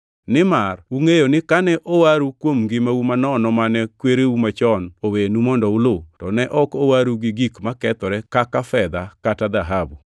Nimar ungʼeyo ni kane owaru kuom ngimau manono mane kwereu machon owenu mondo ulu, to ne ok owaru gi gik makethore kaka fedha kata dhahabu,